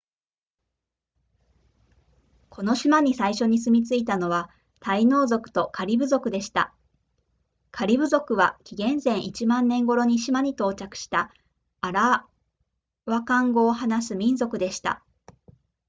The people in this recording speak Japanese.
この島に最初に住み着いたのはタイノー族とカリブ族でしたカリブ族は紀元前1万年頃に島に到着したアラワカン語を話す民族でした